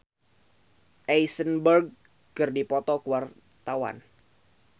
Iyeth Bustami jeung Jesse Eisenberg keur dipoto ku wartawan